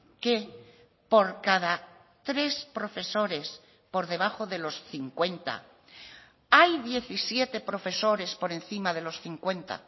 que por cada tres profesores por debajo de los cincuenta hay diecisiete profesores por encima de los cincuenta